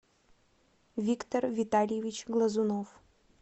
виктор витальевич глазунов